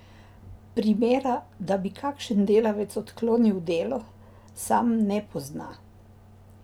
Primera, da bi kakšen delavec odklonil delo, sam ne pozna.